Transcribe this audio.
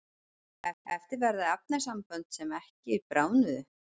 eftir verða efnasambönd sem ekki bráðnuðu